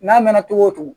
N'a mɛn na cogo o cogo